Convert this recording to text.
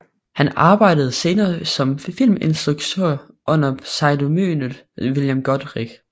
Han arbejdede senere som filminstruktør under pseudonymet William Goodrich